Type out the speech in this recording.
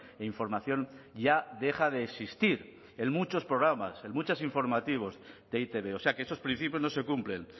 e información ya deja de existir en muchos programas en muchos informativos de e i te be o sea que esos principios no se cumplen